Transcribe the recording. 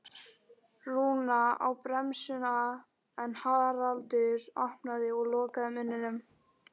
Rúna á bremsuna en Haraldur opnaði og lokaði munninum.